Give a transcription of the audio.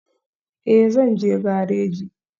Ee, zan je gareji